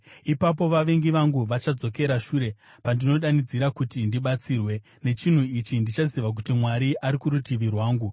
Ipapo vavengi vangu vachadzokera shure pandinodanidzira kuti ndibatsirwe. Nechinhu ichi, ndichaziva kuti Mwari ari kurutivi rwangu.